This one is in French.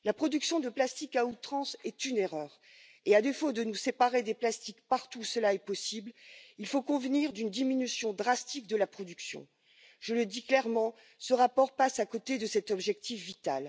action sur la collecte et le recyclage, je viens d'en parler, il y a beaucoup à faire dans les États membres action sur les consommateurs, pour apprendre les gestes responsables et écologiques